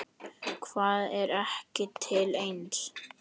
Hvað er ekki til neins?